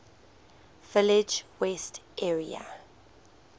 village west area